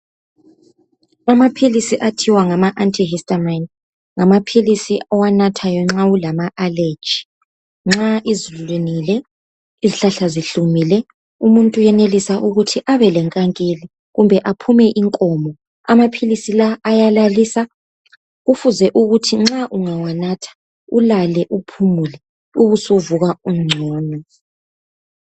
Amaphilisi okuthiwa ngama Ngamaphilisi owanathayo nxa ulama allerrgy. Nxa izulu linile. Izihlahla zihlumile, umuntu uyenealisa ukuthi abelenkankili. Kumbe aphume inkomo. Amaphilisi lawa, ayalalisa. Kufuze ukuthi ungawanatha, ulale uphumule. Ubusuvuka usungcono.